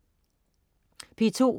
P2: